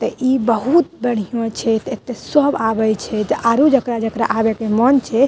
ते इ बहुत बढ़िया छै एते सब अवै छै आरो जकरा-जकरा अवे के मन छै।